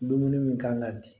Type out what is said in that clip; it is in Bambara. Dumuni min kan ka bin